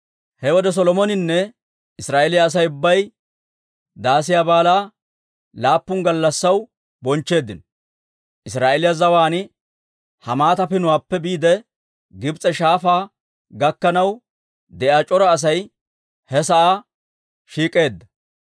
He wode Solomoninne Israa'eeliyaa Asay ubbay Daasiyaa Baalaa laappun gallassaw bonchcheeddino; Israa'eeliyaa zawaan Hamaata Pinuwaappe biide, Gibs'e Shaafaa gakkanaw de'iyaa c'ora Asay he sa'aa shiik'eedda.